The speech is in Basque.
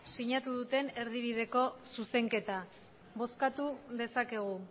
sinatu duten erdibideko zuzenketa bozkatu dezakegu